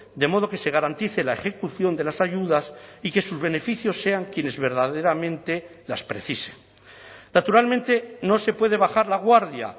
de modo que se garantice la ejecución de las ayudas y que sus beneficios sean quienes verdaderamente las precisen naturalmente no se puede bajar la guardia